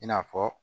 I n'a fɔ